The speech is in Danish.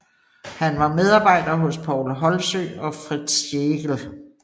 Han var medarbejder hos Poul Holsøe og Frits Schlegel